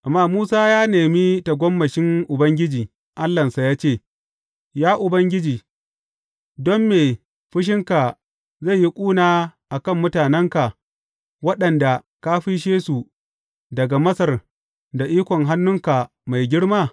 Amma Musa ya nemi tagomashin Ubangiji, Allahnsa ya ce, Ya Ubangiji don me fushinka zai yi ƙuna a kan mutanenka, waɗanda ka fisshe su daga Masar da ikon hannunka mai girma?